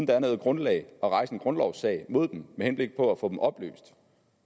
der er noget grundlag at rejse en grundlovssag mod dem med henblik på at få dem opløst